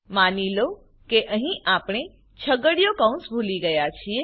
માની લો કે અહીં જો આપણે ભૂલી જઈએ છીએ